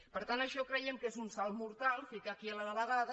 per tant això creiem que és un salt mortal ficar hi aquí la delegada